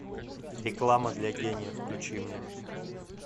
реклама для гениев включи мне